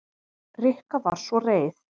Rikka var svo reið.